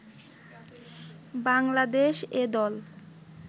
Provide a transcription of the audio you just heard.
বাংলাদেশ এ দল